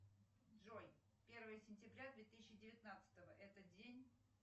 джой первое сентября две тысячи девятнадцатого это день